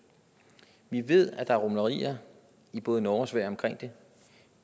vi ved at der er rumlerier i både norge og sverige omkring det